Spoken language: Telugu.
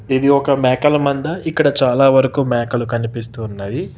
ఇది ఒక మేకల మంద ఇక్కడ చాలావరకు మేకలు కనిపిస్తు ఉన్నాయి.